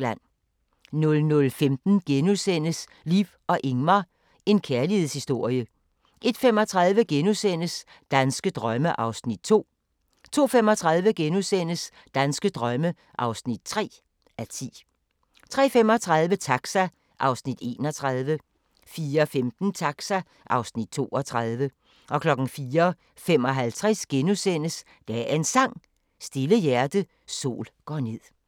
00:15: Liv og Ingmar – en kærlighedshistorie * 01:35: Danske drømme (2:10)* 02:35: Danske drømme (3:10)* 03:35: Taxa (Afs. 31) 04:15: Taxa (Afs. 32) 04:55: Dagens Sang: Stille hjerte, sol går ned *